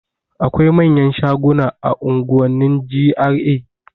Akwai manyan shaguna a unguwannin GRA